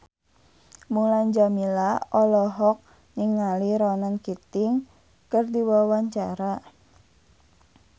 Mulan Jameela olohok ningali Ronan Keating keur diwawancara